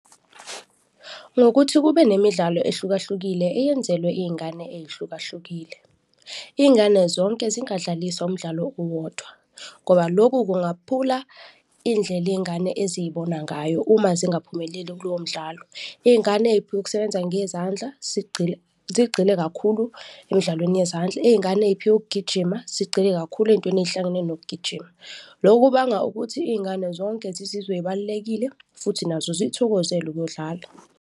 Ngokuthi kube nemidlalo ehlukahlukile eyenzelwe izingane ezihlukahlukile. Izingane zonke zingadlaliswa umdlalo owodwa ngoba loku kungaphula indlela izingane ezizibona ngayo uma zingaphumeleli kulowo mdlalo. Izingane eziphiwe ukusebenza ngezandla zigxile kakhulu emidlalweni yezandla, izingane eziphiwe ukugijima zigxile kakhulu ezintweni ezihlangene nokugijima. Loku kubanga ukuthi izingane zonke zizizwe zibalulekile futhi nazo zikuthokozele ukuyodlala.